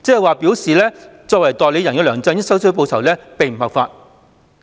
換言之，作為代理人的梁振英收取報酬並不合法。